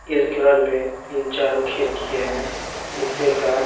इस घर में तीन चार खिरकीए हैं शीशे का--